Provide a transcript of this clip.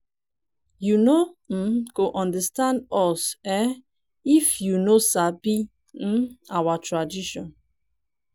you no um go understand us if um you no sabi um our cultural tradition.